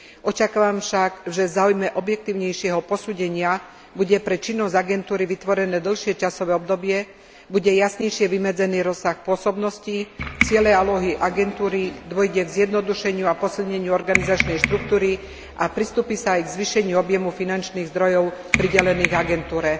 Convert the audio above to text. Očakávam však, že v záujme objektívnejšieho posúdenia bude pre činnosť agentúry vytvorené dlhšie časové obdobie, bude jasnejšie vymedzený rozsah pôsobnosti, ciele a úlohy agentúry, dôjde k zjednodušeniu a posilneniu organizačnej štruktúry a pristúpi sa aj k zvýšeniu objemu finančných zdrojov pridelených agentúre.